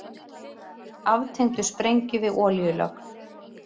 Aftengdu sprengju við olíulögn